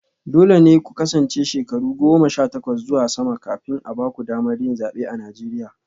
Dole ne ku kasance shekaru goma sha takwas zuwa sama kafin a ba ku damar yin zabe a Najeriya